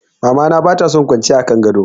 Mama na bata son kwanciya a kan gado.